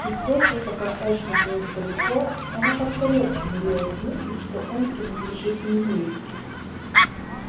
и всё же пока эшли был далеко она как-то легче мирилась с мыслью что он принадлежит не ей